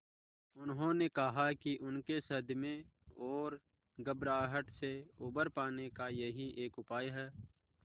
उन्होंने कहा कि उनके सदमे और घबराहट से उबर पाने का यही एक उपाय है